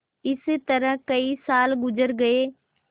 इस तरह कई साल गुजर गये